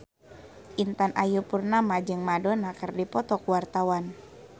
Intan Ayu Purnama jeung Madonna keur dipoto ku wartawan